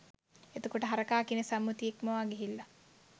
එතකොට හරකා කියන සම්මුතිය ඉක්මවා ගිහිල්ල